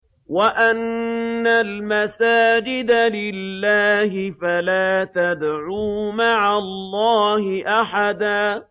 وَأَنَّ الْمَسَاجِدَ لِلَّهِ فَلَا تَدْعُوا مَعَ اللَّهِ أَحَدًا